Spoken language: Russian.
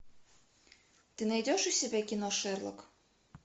ты найдешь у себя кино шерлок